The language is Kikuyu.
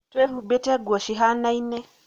twĩhubĩte nguo cihanaine